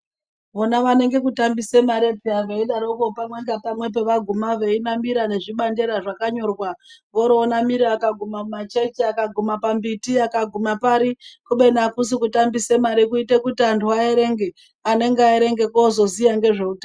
Vona vanenge kutambisa mare peya veidaroko pamwe ngapamwe veinamira nezvibandera zvakanyorwa .Voroonamira vakaguma mumachechi pamimbiti akaguma pari kubeni akusi kutambisa mare kuita kuti antu aerenge ozoziya ngezveutano